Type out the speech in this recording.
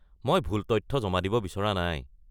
মই ভুল তথ্য জমা দিব বিচৰা নাই।